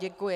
Děkuji.